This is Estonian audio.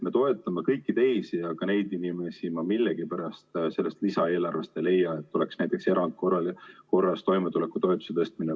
Me toetame kõiki teisi, aga neid inimesi ma millegipärast sellest lisaeelarvest ei leia, näiteks seda, et oleks plaanis erandkorras toimetulekutoetusi tõsta.